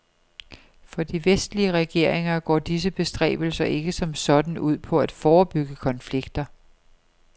For de vestlige regeringer går disse bestræbelser ikke som sådan ud på at forebygge konflikter.